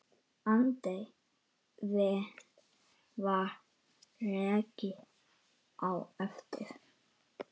Aldrei var rekið á eftir.